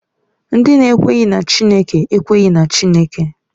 Ndị na-ekweghị na Chineke ekweghị na Chineke.